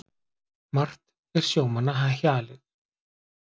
Margt er sjómanna hjalið.